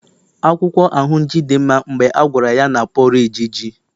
akwukwo ahunji di nma mgbe agwara ya na porridge ji